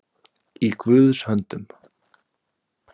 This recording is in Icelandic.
Í Guðs höndum